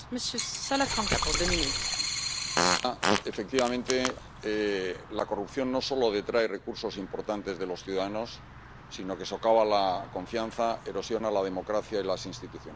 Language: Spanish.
Señora presidenta, efectivamente, la corrupción no solo detrae recursos importantes de los ciudadanos, sino que socava la confianza, erosiona la democracia y las instituciones.